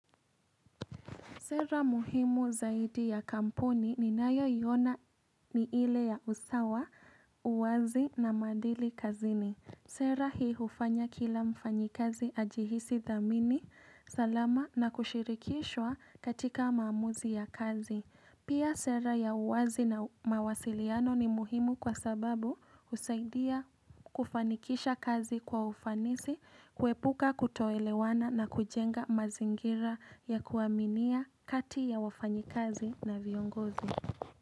Sera muhimu zaidi ya kampuni ninayoiona ni ile ya usawa, uwazi na madili kazini. Sera hii ufanya kila mfanyikazi ajihisi dhamini, salama na kushirikishwa katika maamuzi ya kazi. Pia sera ya uwazi na mawasiliano ni muhimu kwa sababu usaidia kufanikisha kazi kwa ufanisi, kuepuka kutoelewana na kujenga mazingira ya kuaminia kati ya wafanyikazi na viongozi.